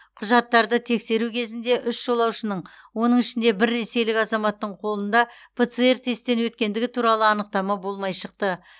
құжаттарды тексеру кезінде үш жолаушының оның ішінде бір ресейлік азаматтың қолында пцр тесттен өткендігі туралы анықтама болмай шықты